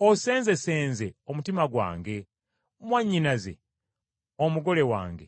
Osenzesenze omutima gwange, mwannyinaze, omugole wange;